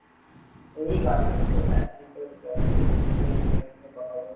এই গার্লফ্রেন্ডেকে টাইম দিতে হচ্ছে